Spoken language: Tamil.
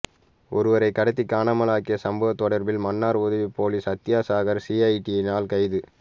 ஒருவரை கடத்தி காணாமல் ஆக்கிய சம்பவம் தொடர்பில் மன்னார் உதவிப் பொலிஸ் அத்தியட்சகர் சிஐடியினால் கைது